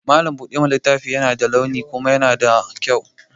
Mallam buɗa mana littafi yana da launi kuma yana da kyau.